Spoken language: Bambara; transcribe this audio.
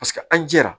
Paseke an jɛra